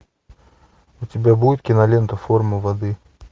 у тебя будет кинолента форма воды